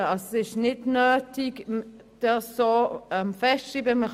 Es ist nicht nötig, das so festzuschreiben.